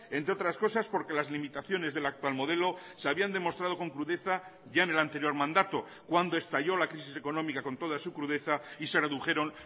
entre otras cosas porque las limitaciones del actual modelo se habían demostrado con crudeza ya en el anterior mandato cuando estalló la crisis económica con toda su crudeza y se redujeron